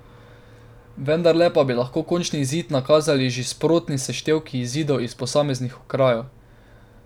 Vendarle pa bi lahko končni izid nakazali že sprotni seštevki izidov iz posameznih okrajev.